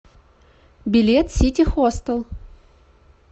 билет сити хостел